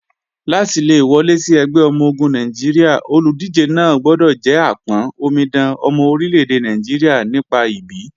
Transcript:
Láti le wọlé sí ẹgbẹ́ ọmọ-ogun Nàìjíríà, olùdíje náà gbọdọ̀ jẹ́ àpọ́n/omidan ọmọ orílẹ́-èdè Nàìjíríà nípa ìbí.